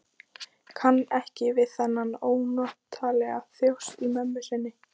Kann ekki við þennan ónotalega þjóst í mömmu sinni.